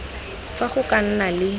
fa go ka nna le